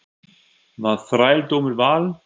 Var þrældómur val?